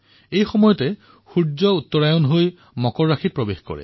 এই সময়তে সুৰ্য উত্তৰায়ণৰ পৰা মকৰ ৰাশিত প্ৰৱেশ কৰে